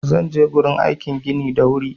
Zan je gurin aikin gini na da wuri